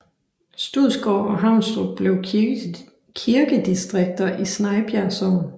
Studsgård og Havnstrup blev kirkedistrikter i Snejbjerg Sogn